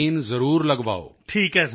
vaccine ਜ਼ਰੂਰ ਲਗਵਾਓ